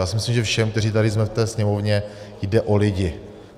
Já si myslím, že všem, kteří tady jsme v té Sněmovně, jde o lidi.